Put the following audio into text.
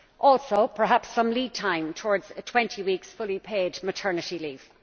Also, perhaps some lead time towards a 20 week fully paid maternity leave.